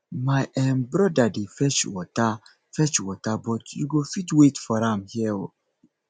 my um broda dey fetch water fetch water but you go fit wait for am here um